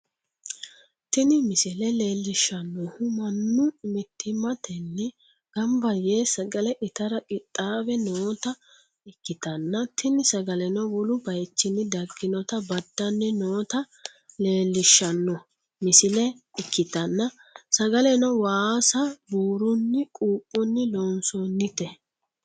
tini misile leellishshannohu mannu mittimmatenni gamab yee sagale itara qixxaawe noota ikkitanna, tini sagaleno wolu bayichnni dagginota badanni noota lellishshanno misile ikkitanna, sagaleno waasa buurunni quuphunni loonsoonite.